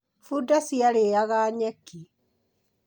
Bunda ciarĩaga nyeki.